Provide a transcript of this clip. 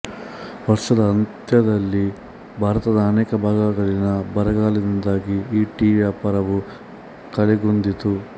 ವರ್ಷದ ಅಂತ್ಯದಲ್ಲಿ ಭಾರತದ ಅನೇಕ ಭಾಗಗಳಲ್ಲಿನ ಬರಗಾಲದಿಂದಾಗಿ ಈ ಟೀ ವ್ಯಾಪಾರವು ಕಳೆಗುಂದಿತ್ತು